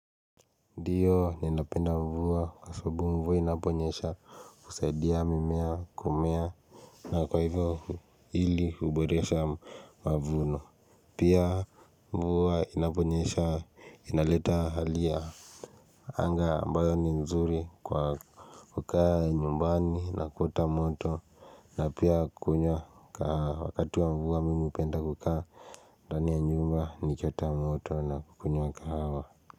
Ndiyo ninapenda mvua kwa sababu mvua inaponyesha husaidia mimea kumea na kwa hivyo hili huboresha mavuno pia mvua inaponyesha inaleta hali ya Anga ambayo ni nzuri kwa kukaa nyumbani na kuota moto na pia kunywa kahawa wakati wa mvua mimi hupenda kukaa ndani ya nyumba nikiota moto na kukunywa kahawa.